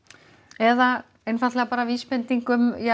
eða einfaldlega vísbending um